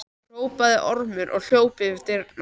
hrópaði Ormur og hljóp fyrir dyrnar.